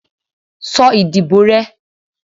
sọ ìdíbò rẹ!